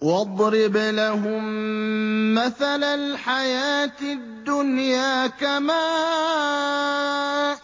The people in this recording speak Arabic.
وَاضْرِبْ لَهُم مَّثَلَ الْحَيَاةِ الدُّنْيَا كَمَاءٍ